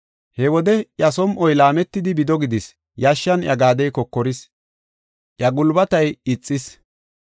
He wode iya som7oy laametidi, bido gidis; yashshan iya gaadey kokoris; iya gulbatay ixis.